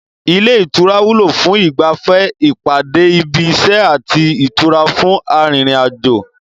Ilé ìtura wúlò fún ìgbafẹ́, ìpàdé ibi iṣẹ́, àti ìtura fún arin ìrìnàjò